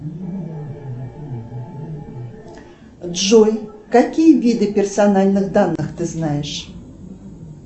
джой какие виды персональных данных ты знаешь